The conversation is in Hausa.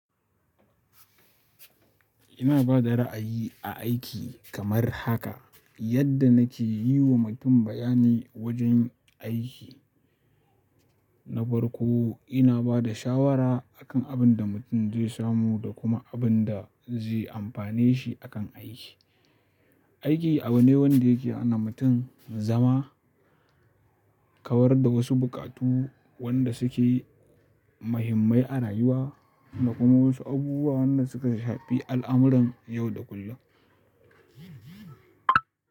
Ina bada ra'ayi a aiki kamar haka, yadda na ke yiwa mutum bayani wajen aiki. Na farko ina bada shawara akan abin da mutum zai samu da kuma abin da zai amfane shi a kan aiki. Aiki abu ne wanda yake hana mutum zama, kawar da wasu buƙatu wanda suke muhimmai a rayuwa da kuma wasu abubuwa wanda suka shafi al'amuran yau da kullum.